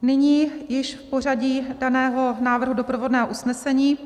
Nyní již v pořadí daného návrhu doprovodného usnesení.